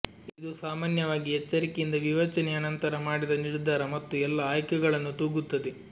ಇದು ಸಾಮಾನ್ಯವಾಗಿ ಎಚ್ಚರಿಕೆಯಿಂದ ವಿವೇಚನೆಯ ನಂತರ ಮಾಡಿದ ನಿರ್ಧಾರ ಮತ್ತು ಎಲ್ಲಾ ಆಯ್ಕೆಗಳನ್ನು ತೂಗುತ್ತದೆ